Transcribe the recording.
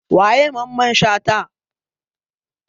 Waye Mamman Shata?